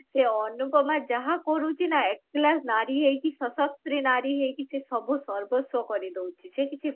ସେ ଅନୁପମା ଯାହା କରୁଛି ନା ଏକଲା ନାରୀ ହେଇକି ସସତ୍ରି ନାରୀ ହେଇକି ସେ ସବୁ ସର୍ବସ୍ଵ କରିଦଉଛି ସେ କିଛି